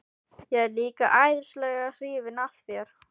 Ég er líka æðislega hrifin af þér.